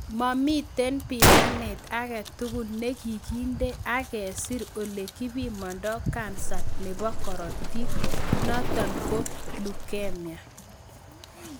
Momiten pimanet agetugul nekikinde ak kesir ole kipimando kansa nebo korotik notok ko leukemia